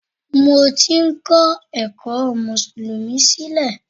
Mo ti ń ko ẹ̀kọ́ mùsùlùmí sílẹ̀